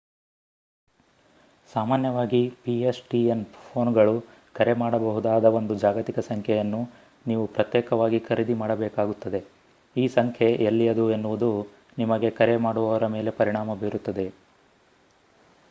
ಸಾಮಾನ್ಯವಾಗಿ pstn ಪೋನ್‌ಗಳು ಕರೆ ಮಾಡಬಹುದಾದ ಒಂದು ಜಾಗತಿಕ ಸಂಖ್ಯೆಯನ್ನು ನೀವು ಪ್ರತ್ಯೇಕವಾಗಿ ಖರೀದಿ ಮಾಡಬೇಕಾಗುತ್ತದೆ. ಈ ಸಂಖ್ಯೆ ಎಲ್ಲಿಯದು ಎನ್ನುವುದು ನಿಮಗೆ ಕರೆ ಮಾಡುವವರ ಮೇಲೆ ಪರಿಣಾಮ ಬೀರುತ್ತದೆ